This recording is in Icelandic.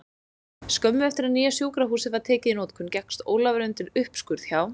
Skömmu eftir að nýja sjúkrahúsið var tekið í notkun gekkst Ólafur undir uppskurð hjá